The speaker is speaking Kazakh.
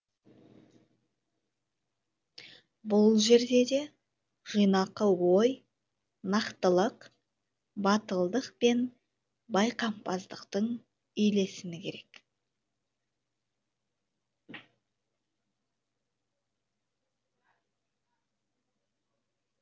бұл жерде де жинақы ой нақтылық батылдық пен байқампаздықтың үйлесімі керек